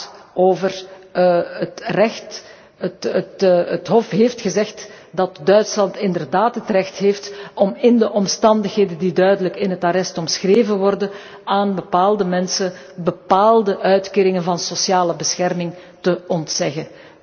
Het Hof heeft gezegd dat Duitsland inderdaad het recht heeft om in de omstandigheden die duidelijk in het arrest omschreven worden, aan bepaalde mensen bepaalde uitkeringen van sociale bescherming te ontzeggen.